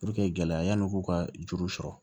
gɛlɛyaw k'u ka juru sɔrɔ